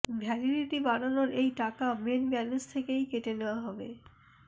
validity বাড়ানোর এই টাকা মেন ব্যালেন্স থেকেই কেটে নেওয়া হবে